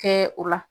Kɛ o la